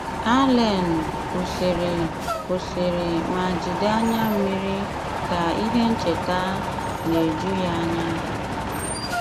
Állén kwúsírị kwúsírị ma jídé ányá mmíri ká íhé ńchéta ná-éjù yá ányá.